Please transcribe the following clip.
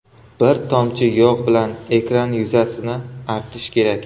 Bir tomchi yog‘ bilan ekran yuzasini artish kerak.